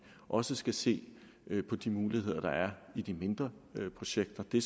også skal se på de muligheder der er i de mindre projekter de